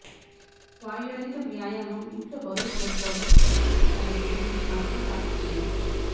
వాయురహిత వ్యాయామం ఇంట్లో బరువు కోల్పోవడం శక్తి పరికరాలు ఉపయోగించి మాత్రమే ప్రాప్తి చేయవచ్చు